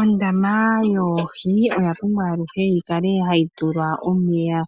Ondama yoohi oya pumbwa aluhe yi kale hayi tulwa omeya